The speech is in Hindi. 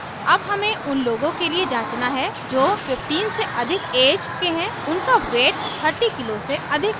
अब हमें उन लोगों के लिए जाँचना है जो 15 से अधिक ऐज के हैं और उनका weight 30 किग्रा से अधिक है